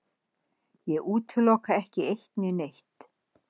Ég útiloka ekki eitt né neitt.